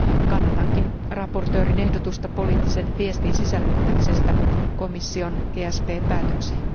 Kannatankin esittelijän ehdotusta poliittisen viestin sisällyttämisestä komission GSP päätökseen.